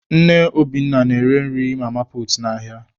Nne Obinna na-ere nri mama puutu n'ahịa.